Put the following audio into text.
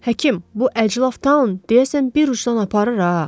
Həkim, bu əclaf taun, deyəsən bir ucudan aparır, ha.